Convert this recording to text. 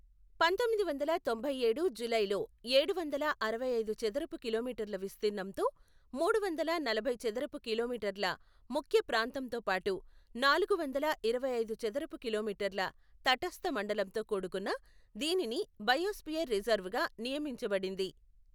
పంతొమ్మిది వందల తొంభై ఏడు జూలైలో ఏడువందల అరవై ఐదు చదరపు కిలోమీటర్ల విస్తీర్ణంతో, మూడు వందల నలభై చదరపు కిలోమీటర్ల ముఖ్య ప్రాంతంతో పాటు, నాలుగు వందల ఇరవై ఐదు చదరపు కిలోమీటర్ల తటస్థమండలంతో కూడుకున్న దీనిని బయోస్పియర్ రిజర్వ్గా నియమించబడింది.